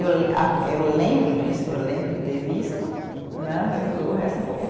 Eu a eu lembro disso, eu lembro de ter visto né, mas o o resto